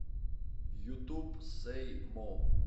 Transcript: ютуб сэй мо